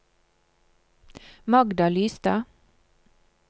Magda Lystad